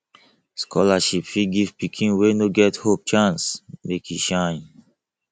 scholarship fit give pikin wey no get hope chance make e shine